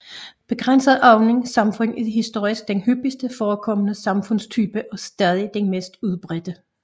Begrænset åbne samfund er historisk den hyppigst forekommende samfundstype og stadig den mest udbredte